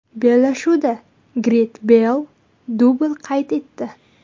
Bellashuvda Garet Beyl dubl qayd etdi.